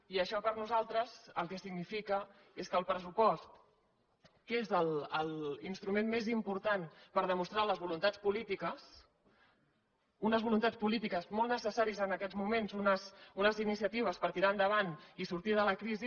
i això per nosaltres el que significa és que el pressupost que és l’instrument més important per demostrar les voluntats polítiques unes voluntats polítiques molt necessàries en aquest moment unes iniciatives per tirar endavant i sortir de la crisi